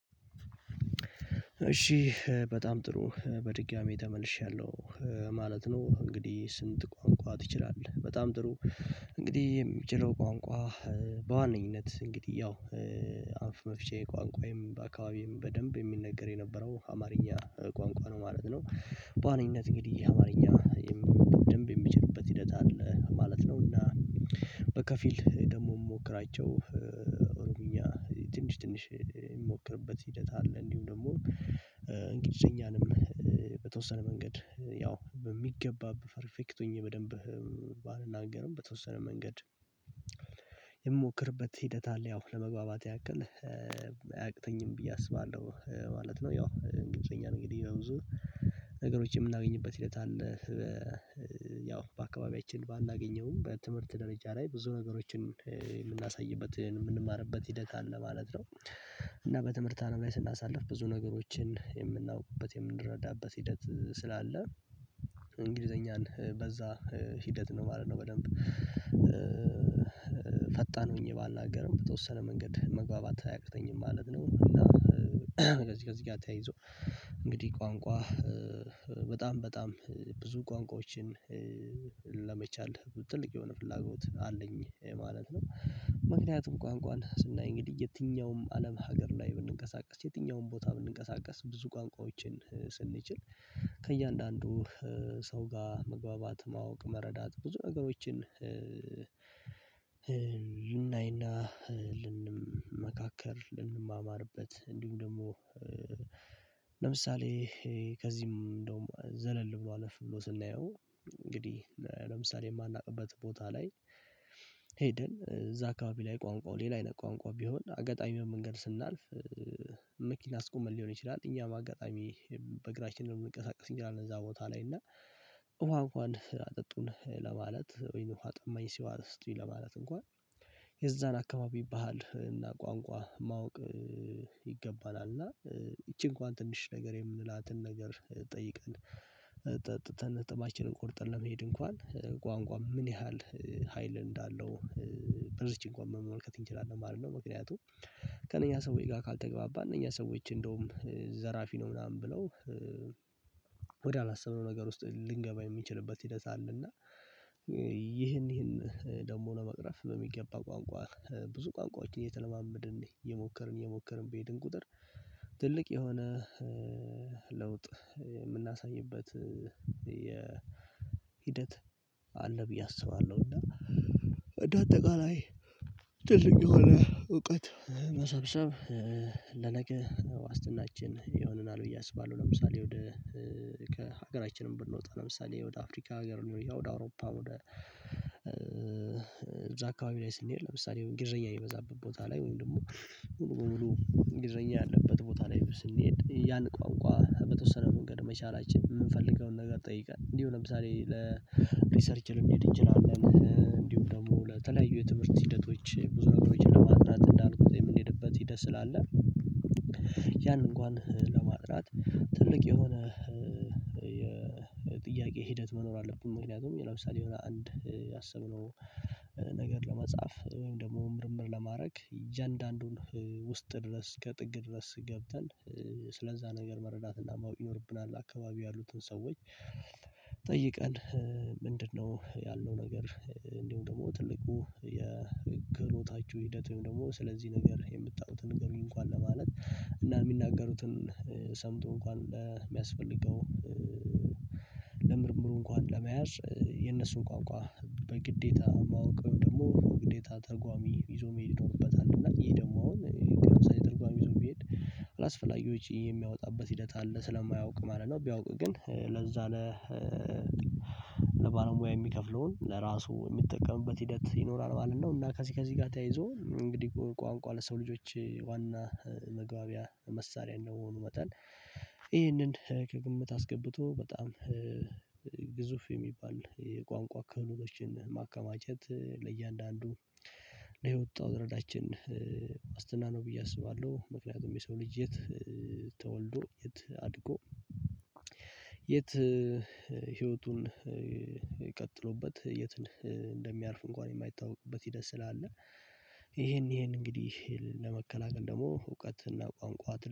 እሺ በጣም ጥሩ በድጋሜ ተመልሻለሁ ማለት ነው እንግዲህ ስንት ቋንቋ ትችላለህ በጣም ጥሩ? እንግዲህ የምችለው ቋንቋ። በዋነኝነት እንግዲህ ያው አፍ መፍቻዬ ቋንቋዬም በአካባቢዬም በደንብ የሚነገር የነበረው አማርኛ ቋንቋ ነው ማለት ነው። በዋነኝነት እንግዲህ አማርኛ ደንብ የምችልበት ሂደት አለ ማለት ነው። እና በከፊል ደግሞ የምሞክራቸው ኦሮምኛ ትንሽ ትንሽ ምሞክርበት ሂደት አለ። እንዲሁ ደግሞ እንግሊዘኛንም በተወሰነ መንገድ ያው በሚገባበት ፐርፌክት ሆኜ በደንብ ባልናገርም በተወሰነ መንገድ የምሞክርበት ሂደት አለ ያው ለመግባባት ያክል አያቅተኝም ብዬ አስባለሁ። ማለት ነው ያው ኢንግልዘኛን እንግዲህ በብዙ ነገሮች የምናገኝበት ሂደት አለ። ያው በአካባቢያችን ባላገኘውም በትምህርት ደረጃ ላይ ብዙ ነገሮችን የምናሳይበትን የምንማርበት ሂደት አል ማለት ነው። እና በትምህርት አለም ላይ ስናሳልፍ ብዙ ነገሮችን የምናውቅበት የምንረዳበት ሂደት ስላለ እንግሊዘኛን በዛ ሂደት ነው ማለት ነው። በደንብ ፈጣን ሆኜ ባልናገርም በተወሰነ መንገድ መግባባት አያቅተኝም ማለት ነው። እና ከዚህ ከዚህ ጋር ተያይዞ እንግዲህ ቋንቋ በጣም ብጣም ብዙ ቋንቋዎችን ለመቻል ትልቅ የሆነ ፍላጎት አለኝ ማለት ነው። ምክንያቱም ቋንቋን ስናይ እንግዲህ የትኛውም አለም ሀገር ላይ ብንንቀሳቀስ የትኛውም ቦታ ብንንቀሳቀስ ብዙ ቋንቋዎችን ስንችል ከእያንዳንዱ ሰው ጋር መግባባት ማወቅ መረዳት ብዙ ነገሮችን ልናይና ልንመካከር ልንማማርበት እንዲሁም ደግሞ። ለምሳሌ ከዚህም እንደውም ዘለል ብሎ አለፍ ብሎ ስናየው እንግዲህ ለምሳሌ የማናውቅበት ቦታ ላይ ሄደን እዛ አካባቢ ላይ ቋንቋው ሌላ አይነት ቋንቋ ቢሆን አጋጣሚ በመንገድ ስናልፍ። መኪና አስቁመን ሊሆን ይችላል እኛም አጋጣሚ በእግራችን ነው የምንቀሳቀስ እኛ አለን እዛ ቦታ ላይ እና። ውሃ እንኳን አጠጡን ለማለት ወይንም ውሃ ጠማኝ እስቲ ውሃ ስጡኝ ለማለት እንኳን የዛን አካባቢ ባህል እና ቋንቋ ማወቅ ይገባናል። እና ይቺ እንኳን ትንሽ ነገር የምንላትን ነገር ጠይቀን ጠጥተን ነጥባችንን ቆርጠን ለመሄድ እንኳን ቋንቋ ምን ያህል ሀይል እንዳለው በዚች እንኳን መመልከት እንችላለን ማለት ነው። ምክንያቱም ከእነኛ ሰው ጋር ካልተግባባን እነኛ ሰዎች እንደውም ዘራፊ ነው ምናምን ብለው። ወደ አላሰብነው ነገር ውስጥ ልንገባ የምችልበት ሂደት አለ። እና ይህን ይህን ደግሞ ነው ለመቅረፍ በሚገባ ቋንቋ ብዙ ቋንቋዎችን እየተለማመድን እየሞከርን እየሞከርን በሄድን ቁጥር ትልቅ የሆነ ለውጥ የምናሳይበት የሂደት አለ። ብዬ አስባለሁ እና እንደ አጠቃላይ ትልቅ የሆነ እውቀት መሰብሰብ ለነገ ዋስትናችን ይሆነናል ብዬ አስባለሁ። ለምሳሌ ወደ ከሀገራችንም ብንወጣ ለምሳሌ ወደ አፍሪካ ሀገር ወደ አውሮፓ ወደ እዛ አካባቢ ላይ ስንሄድ ለምሳሌ የሆነ ኢንግልዘኛ የበዛበት ቦታ ላይ ወይም ደግሞ ሙሉ በሙሉ እንግሊዘኛ ያለበት ቦታ ላይ ስንሄድ ያን ቋንቋ በተወሰነ መንገድ መቻላችን ምንፈልገውን ነገር ጠይቀን እንዲሁ ለምሳሌ ለሪሰርች ልንሄድ እንችላለን እንዲሁ ደግሞ ለተለያዩ የትምህርት ሂደቶች ብዙ ነገሮችን ለማጥናት እንዳልኩት የምንሄድበት ሂደት ስላለ። ያንን እንኳን ለማጥናት ትልቅ የሆነ የጥያቄ ሂደት መኖር አለብን። ምክንያቱም ይለብሳል የሆነ አንድ ያሰብነው ነገር ለመጻፍ ወይም ደግሞ ምርምር ለማድረግ እያንዳንዱን ውስጥ ድረስ ከጥግ ድረስ ገብተን ስለዛ ነገር መረዳትና ማወቅ ይኖርብናል። አካባቢ ያሉትን ሰዎች ጠይቀን ምንድነው ያለው ነገር እንዲሁም ደግሞ ትልቁ የክህሎታችሁ ሂደት ወይም ደግሞ ስለዚህ ነገር የምታዩትን ንገሩኝ። እንኳን ለማለት እና የሚናገሩትን ሰምቶ እንኳን ሚያስፈልገው ለምርምሩ እንኳን ለመያዝ የነሱን ቋንቋ በግዴታ ማወቅ ወይም ደግሞ ግዴታ ተርጓሚ ይዞ መሄድ ይኖርበታል። እና ይሄ ደግሞ አሁን ለምሳኤ ተርጓሜ ይዞ ቢሄድ አላስፈላጊ ወጪ የሚያወጣበት ሂደት አለ ስለማያውቅ ማለት ነው። ቢያውቅ ግን ለዛ ለባለሙያ የሚከፍለውን ለራሱ የሚጠቀምበት ሂደት ይኖራል ማለት ነው። እና ከዚህ ከዚህ ጋር ተያይዞ እንግዲህ ቋንቋ ለሰው ልጆች ዋና መግባቢያ መሳሪያ እንደመሆኑ መጠን ይህንን ከግምት አስገብቶ በጣም ግዙፍ የሚባል የቋንቋ ክህሎቶችን ማከማቸት ለእያንዳንዱ ለየወጣው ደረጃችን ዋስትና ነው። ብዬ አስባለሁ ምክንያቱም የሰው ልጅ የት ተወልዶ የት አድጎ የት ህይወቱን ቀጥሎበት የት እንደሚያርፍ እንኳን የማይታወቅበት ሂደት ስላለ። ይሄን ይሄን እንግዲህ ለመከላከል ደግሞ እውቀትና ቋንቋት